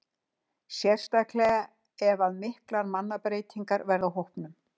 Sérstaklega ef að miklar mannabreytingar verða á hópnum.